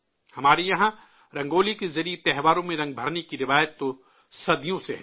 ہمارے یہاں رنگولی کے ذریعے تہواروں میں رنگ بھرنے کی روایت تو صدیوں سے ہے